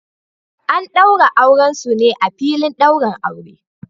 An daura auren su ne a filin daurin aure